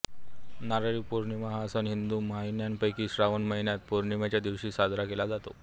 नारळी पौर्णिमा हा सण हिंदू महिन्यांपैकी श्रावण महिन्यातील पौर्णिमेच्या दिवशी साजरा केला जातो